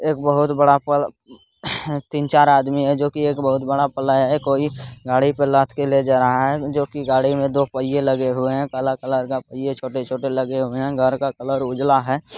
एक बहुत बड़ा पल तीन-चार आदमी है जो की एक बहुत बड़ा पलाय है| कोई गाड़ी पे लाद के ले जा रहा है जो की गाड़ी में दो पहिए लगे हुए हैं| काला कलर का पहिया छोटे-छोटे लगे हुए हैं घर का कलर उजला है।